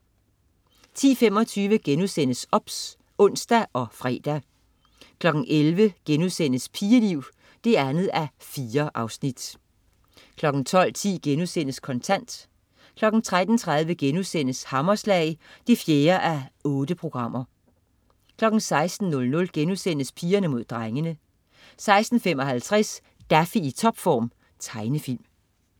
10.25 OBS* (ons og fre) 11.00 Pigeliv 2:4* 12.10 Kontant* 13.30 Hammerslag 4:8* 16.00 Pigerne mod drengene* 16.55 Daffy i topform. Tegnefilm